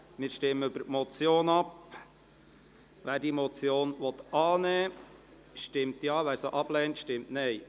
Wer die Motion annehmen will, stimmt Ja, wer diese ablehnt, stimmt Nein.